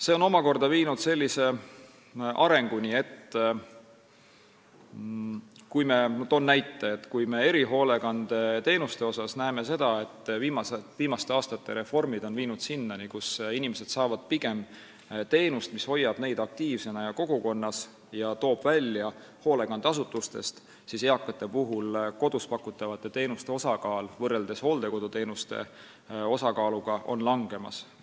See on omakorda viinud sellise arenguni – ma toon näite –, et kui erihoolekandeteenuste viimaste aastate reformid on tekitanud olukorra, kus inimesed saavad pigem teenust, mis hoiab neid aktiivsena ja kogukonnas ning toob neid hoolekandeasutustest välja, siis eakatele kodus pakutavate teenuste osakaal on võrreldes hooldekoduteenuste osakaaluga langemas.